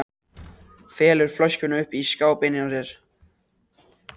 Felur flöskuna uppi í skáp inni hjá sér.